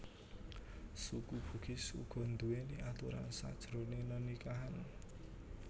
Suku Bugis uga nduwèni aturan sajroné nenikahan